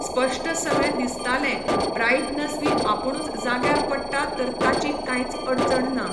स्पश्ट सगळें दिसतालें ब्रायट्नस बी आपूणुच जाग्यार पडटा तर ताची कांयच अडचण ना